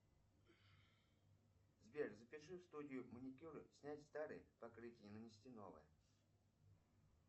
сбер запиши в студию маникюра снять старое покрытие и нанести новое